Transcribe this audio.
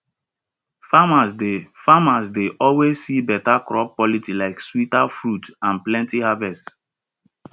farmers dey farmers dey always see better crop quality like sweeter fruits and plenty harvest